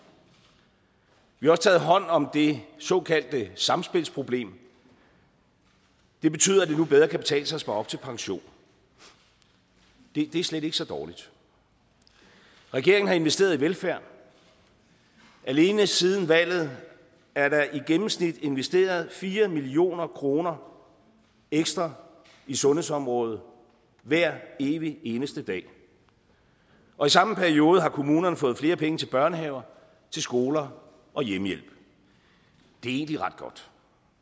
vi har også taget hånd om det såkaldte samspilsproblem det betyder at det nu bedre kan betale sig at spare op til pension det er slet ikke så dårligt regeringen har investeret i velfærden alene siden valget er der i gennemsnit investeret fire million kroner ekstra i sundhedsområdet hver evig eneste dag og i samme periode har kommunerne fået flere penge til børnehaver skoler og hjemmehjælp det er egentlig ret godt